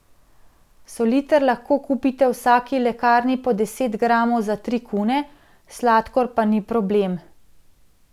Soliter lahko kupite v vsaki lekarni po deset gramov za tri kune, sladkor pa ni problem.